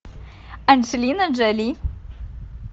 анджелина джоли